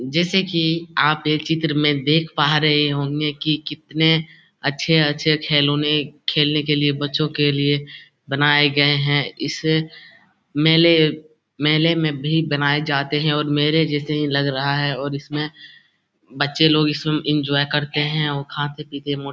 जैसे कि आप एक चित्र में देख पा रहे होंगे कि कितने अच्छे-अच्छे खिलौने खेलने के लिए बच्चों के लिए बनाए गए हैं इसे मेले मेले में भी बनाए जाते हैं और मेले जैसे ही लग रहा है और इसमें बच्चे लोग इसमें एन्जॉय करते हैं और खाते-पीते --